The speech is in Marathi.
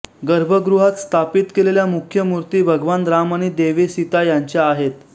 गर्भगृहात स्थापित केलेल्या मुख्य मूर्ती भगवान राम आणि देवी सीता यांच्या आहेत